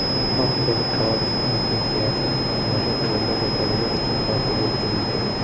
oq qo‘ziqorin infeksiyasi homilador ayollar va bolalar uchun xavfli bo‘lishi mumkin.